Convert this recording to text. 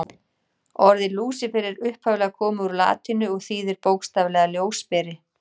Orðið Lúsífer er upphaflega komið úr latínu og þýðir bókstaflega ljósberi.